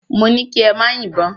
Mó kí ẹ má yìbọn!